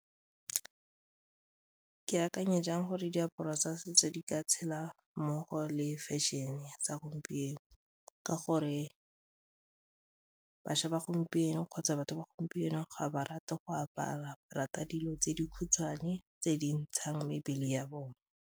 Ke akanya jang gore diaparo tsa setso di ka tshela mmogo le fashion-e sa gompieno ka gore bašwa ba gompieno kgotsa batho ba gompieno ga ba rate go apara, ba rata dilo tse di khutshwane tse di ntshang mebele ya bone.